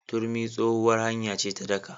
Turmi tsohuwar hanya ce ta daƙa.